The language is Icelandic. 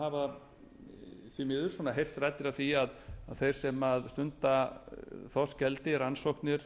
hafa því miður heyrst raddir af því að þeir sem stunda þorskeldi rannsóknir